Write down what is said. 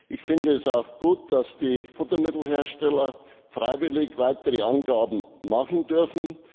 Ich finde es auch gut, dass die Futtermittelhersteller freiwillig weitere Angaben machen dürfen.